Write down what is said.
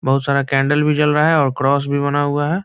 बहुत सारा कैन्डल भी जल रहा है और क्रॉस भी बना हुआ है।